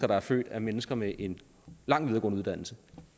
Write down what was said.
der er født af mennesker med en lang videregående uddannelse